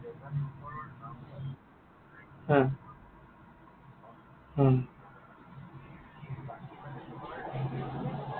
হা, অ